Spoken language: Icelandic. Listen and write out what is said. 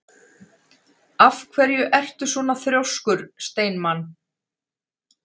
Af hverju ertu svona þrjóskur, Steinmann?